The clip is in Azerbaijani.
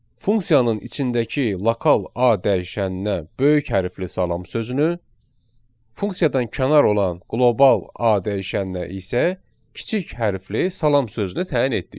Funksiyanın içindəki lokal A dəyişəninə böyük hərflə salam sözünü, funksiyadan kənar olan qlobal A dəyişəninə isə kiçik hərflə salam sözünü təyin etdik.